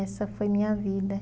Essa foi minha vida.